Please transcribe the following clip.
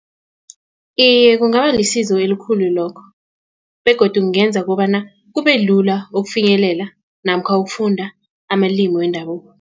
Iye, kungaba lisizo elikhulu lokho begodu kungenza kobana kubelula ukufinyelela namkha ukufunda amalimi wendabuko.